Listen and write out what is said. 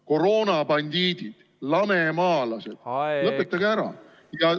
Koroonabandiidid, lamemaalased – lõpetage ära!